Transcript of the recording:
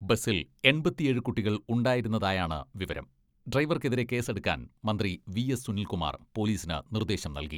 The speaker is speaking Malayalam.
ബസ്സിൽ എൺപത്തിയേഴ് കുട്ടികൾ ഉണ്ടായിരുന്നതായാണ് വിവരം, ഡ്രൈവർക്കെതിരെ കേസെടുക്കാൻ മന്ത്രി വി.എസ് സുനിൽകുമാർ പോലീസിന് നിർദ്ദേശം നൽകി.